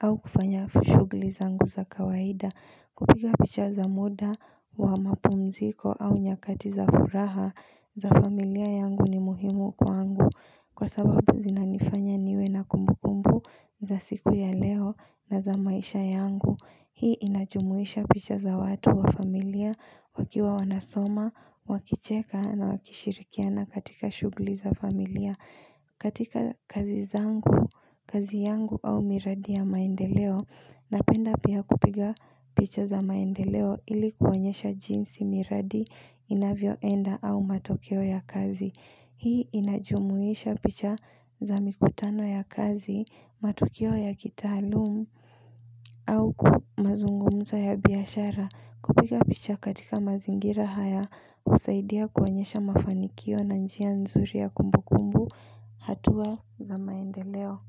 au kufanya shughuliza nguza kawaida Kupiga picha za muda wa mapumziko au nyakati za furaha za familia yangu ni muhimu kwa angu Kwa sababu zinanifanya niwe na kumbu kumbu za siku ya leo na za maisha yangu Hii inajumuisha picha za watu wa familia wakiwa wanasoma, wakicheka na wakishirikiana katika shughuli za familia katika kazi zangu, kazi yangu au miradi ya maendeleo, napenda pia kupiga picha za maendeleo ilikuonyesha jinsi miradi inavyoenda au matokeo ya kazi Hii inajumuisha picha za mikutano ya kazi, matokeo ya kitaalumu au mazungumza ya biashara Kupiga picha katika mazingira haya husaidia kuonyesha mafanikio na njia nzuri ya kumbu kumbu hatua zamaendeleo.